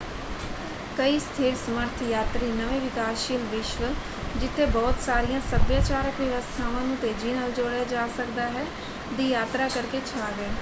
ਕਈ ਸਥਿਰ ਸਮਰਥ ਯਾਤਰੀ ਨਵੇਂ ਵਿਕਾਸਸ਼ੀਲ ਵਿਸ਼ਵ ਜਿੱਥੇ ਬਹੁਤ ਸਾਰੀਆਂ ਸੱਭਿਆਚਾਰਕ ਵਿਵਸਥਾਵਾਂ ਨੂੰ ਤੇਜ਼ੀ ਨਾਲ ਜੋੜਿਆ ਜਾ ਸਕਦਾ ਹੈ ਦੀ ਯਾਤਰਾ ਕਰਕੇ ਛਾ ਗਏ।